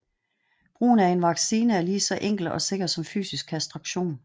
Brugen af en vaccine er lige så enkel og sikker som fysisk kastration